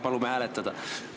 Palume hääletada!